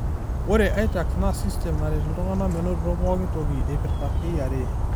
Ore iTax naa sistem naret iltungana menoto pooki toki eipira KRA.